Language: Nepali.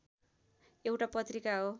एउटा पत्रिका हो